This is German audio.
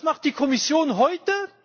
Und was macht die Kommission heute?